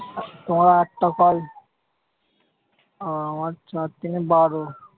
তোমার আটটা কল আর আমার চার তিনে বারো।